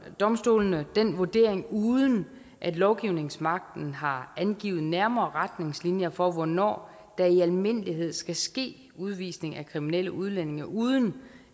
domstolene den vurdering uden at lovgivningsmagten har angivet nærmere retningslinjer for hvornår der i almindelighed skal ske udvisning af kriminelle udlændinge uden